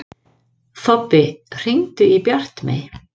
Þobbi, hringdu í Bjartmey.